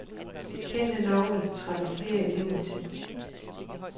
Kendte navne trækker flere elever til.